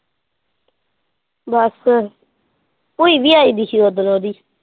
ਬਸ ਭੂਈ ਵੀ ਆਈ ਹੋਇ ਸੀ ਉੱਧਰੋ ਦੀ।